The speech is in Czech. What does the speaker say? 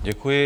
Děkuji.